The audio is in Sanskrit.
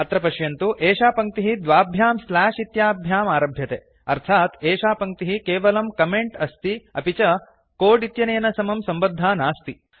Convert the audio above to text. अत्र पश्यन्तु एषा पङ्क्तिः द्वाभ्यां स्लाश् इत्याभ्याम् आरभ्यते अर्थात् एषा पङ्क्तिः केवलं कमेंट् अस्ति अपि च कोड् इत्यनेन समं सम्बद्धा नास्ति